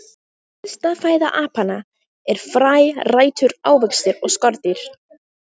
Helsta fæða apanna er fræ, rætur, ávextir og skordýr.